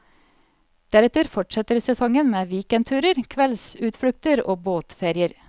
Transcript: Deretter fortsetter sesongen med weekendturer, kveldsutflukter og båtferier.